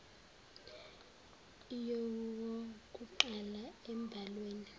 yowokuqala embhalwe ni